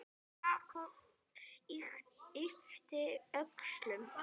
Jakob yppti öxlum.